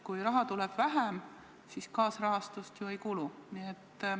Kui raha tuleb vähem, siis kaasrahastust ju ei kulu.